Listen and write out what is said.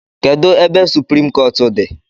Kedụ ebe suprim kọọt dị?